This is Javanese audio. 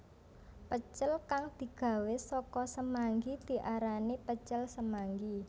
Pecel kang digawé saka semanggi diarani pecel semanggi